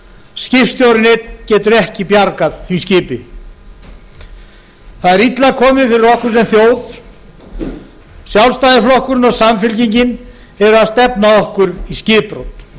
skipstjórinn einn getur ekki bjargað því skipi það er illa komið fyrir okkur sem þjóð sjálfstæðisflokkurinn og samfylkingin eru að stefna okkur í skipbrot